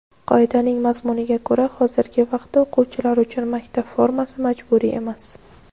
Qoidaning mazmuniga ko‘ra hozirgi vaqtda o‘quvchilar uchun maktab formasi majburiy emas.